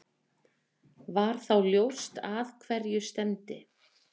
Var þá ljóst að hverju stefndi.